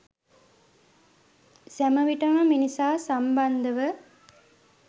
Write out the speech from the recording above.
සැමවිටම මිනිසා සම්බන්ධව